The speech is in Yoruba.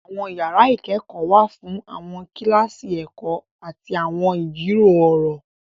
Àwọn yàrà ikẹkọ wà fún awọn kilasi ẹkọ ati awọn ijiro ọrọ.